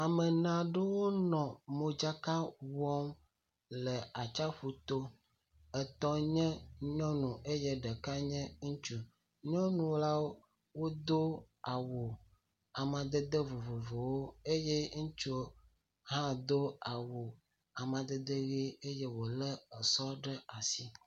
Ame ene aɖewo le modzaka wɔm le atsaƒu to. Etɔ̃ nye nyɔnu eye ɖeka nye ŋutsu. Nyɔnulawo do awu amadede vovovowo eye ŋutsu hã do awu amadede ʋie eye wole sɔ ɖe asi.